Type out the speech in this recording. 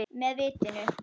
Með vitinu.